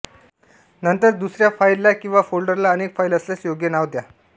नंतर दुसय्रा फ़ाईलला किंवा फ़ोल्डरला अनेक फ़ाईल असल्यास योग्य नाव द्या